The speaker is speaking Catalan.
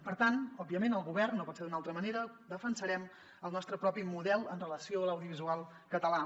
per tant òbviament el govern no pot ser d’una altra manera defensarem el nostre propi model amb relació a l’audiovisual català